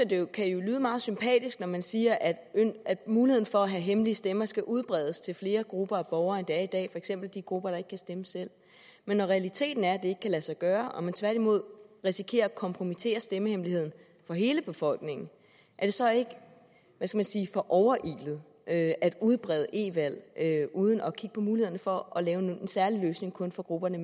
det jo kan lyde meget sympatisk når man siger at muligheden for at have hemmelige stemmer skal udbredes til flere grupper af borgere end det er i dag for eksempel de grupper der ikke kan stemme selv men når realiteten er ikke kan lade sig gøre og man tværtimod risikerer at kompromittere stemmehemmeligheden for hele befolkningen er det så ikke for overilet at udbrede e valg uden at kigge på mulighederne for at lave en særlig løsning kun for grupperne